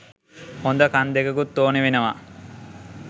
හොද කන් දෙකකුත් ඕනේ වෙනවා